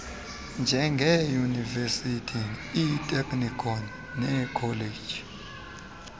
njengeeyunivesithi iiteknikhoni neekholeji